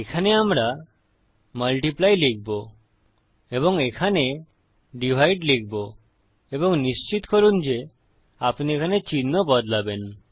এখানে আমরা মাল্টিপ্লাই লিখবো এবং এখানে ডিভাইড লিখবো এবং নিশ্চিত করুন যে আপনি এখানে চিহ্ন বদলাবেন